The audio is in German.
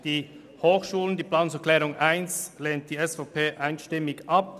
Die SVP lehnt die Planungserklärung 1 einstimmig ab.